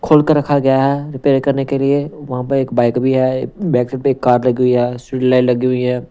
खोल कर रखा गया है रिपेयर करने के लिए वहां पर एक बाइक भी है बैक साइड पे एक कार लगी हुई है स्वीट लाइट लगी हुई है.